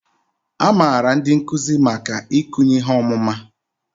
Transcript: A maara ndị nkuzi maka ikunye ihe ọmụma